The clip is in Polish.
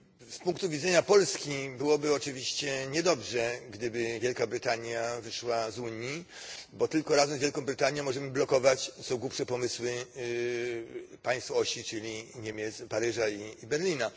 Z punktu widzenia Polski byłoby oczywiście niedobrze, gdyby Wielka Brytania wyszła z Unii, bo tylko razem z Wielką Brytanię możemy blokować co głupsze pomysły państw osi, czyli Niemiec, Paryża i Berlina.